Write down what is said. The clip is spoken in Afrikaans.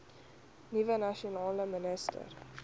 nuwe nasionale minister